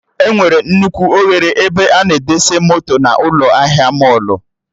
Enwere nnukwu oghere ebe a na-edesa moto na ụlọ ahịa mọlụ